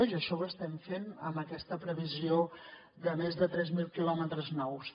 i això ho estem fent amb aquesta previsió de més de tres mil quilòmetres nous